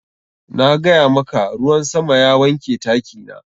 Na gaya maka, ruwan sama ya wanke taki na.